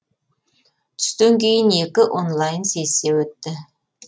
түстен кейін екі онлайн сессия өтті